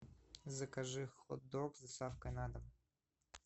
закажи хот дог с доставкой на дом